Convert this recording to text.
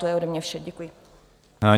To je ode mě vše, děkuji.